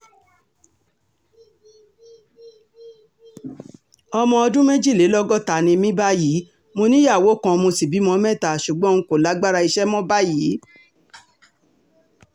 ọmọ ọdún méjìlélọ́gọ́ta ni mí báyìí mo níyàwó kan mo sì bímọ mẹ́ta ṣùgbọ́n n kò lágbára iṣẹ́ mọ́ báyìí